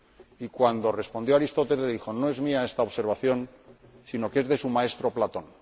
Y, cuando respondió Aristóteles, le dijo no es mía esta observación, sino que es de su maestro Platón.